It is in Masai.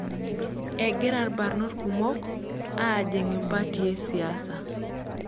Egira ilbarnot kumok aajing impatii e siasa.